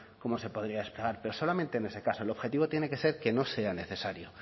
pero solamente en ese caso el objetivo tiene que ser que no sea necesario